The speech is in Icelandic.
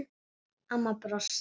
Amma brosti.